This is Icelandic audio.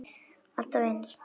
Alltaf eins!